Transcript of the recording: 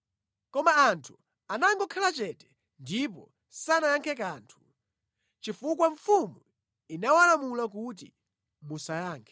Koma anthu anakhala chete ndipo sanayankhepo kanthu, chifukwa mfumu inawalamula kuti, “Musayankhe.”